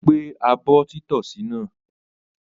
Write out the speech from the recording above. Ó gbé abọ́ títọ́sì náà?